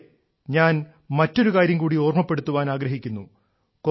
അതേ ഞാൻ മറ്റൊരു കാര്യം കൂടി ഓർമ്മപ്പെടുത്തുവാൻ ആഗ്രഹിക്കുന്നു